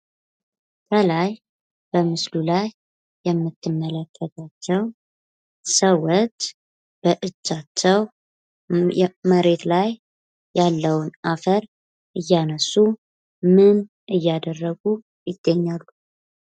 ከላይ በምስሉ ላይ የምትመለከቷቸው ሰዎች በእጃቸው መሬት ላይ ያለውን አፈር እያነሱ ምን እያደረጉ ይገኛሉ?